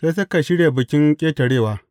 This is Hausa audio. Sai suka shirya Bikin Ƙetarewa.